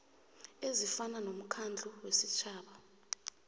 ezifana nomkhandlu wesitjhaba